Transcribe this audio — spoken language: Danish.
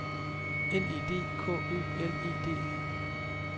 N E D K Ø L E D E